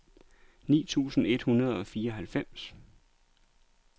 ni tusind et hundrede og fireoghalvfems